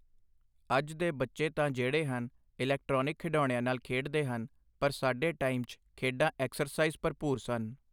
ਅੱਜ ਦੇ ਬੱਚੇ ਤਾਂ ਜਿਹੜੇ ਹਨ, ਇਲੈਕਟ੍ਰੌਨਿਕ ਖਿਡੌਣਿਆਂ ਨਾਲ ਖੇਡਦੇ ਹਨ, ਪਰ ਸਾਡੇ ਟਾਈਮ 'ਚ ਖੇਡਾਂ ਐਕਸਰਸਾਈਜ਼ ਭਰਭੂਰ ਸਨ।